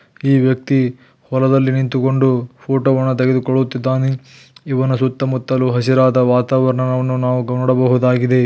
ಈ ವ್ಯಕ್ತಿ ಹೊಲದಲ್ಲಿ ನಿಂತುಕೊಂಡು ಫೋಟೋವನ್ನು ತೆಗೆದುಕೊಳ್ಳುತ್ತಿದ್ದಾನೆ ಇವನ ಸುತ್ತಮುತ್ತಲು ಹಸಿರಾದ ವಾತಾವರಣ ವನ್ನು ನಾವು ನೋಡಬಹುದಾಗಿದೆ.